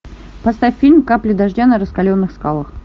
поставь фильм капли дождя на раскаленных скалах